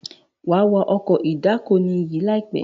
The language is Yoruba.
wà wá Ọkọ̀ ìdákoní yí láìpé!